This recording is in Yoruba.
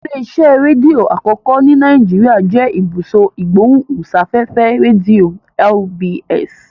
Ilé-iṣẹ́ rédíò àkọ́kọ́ ní Nàìjíríà jẹ́ Ibùsọ̀ Ìgbóhùsáfẹ́fẹ́ Rédíò (RBS).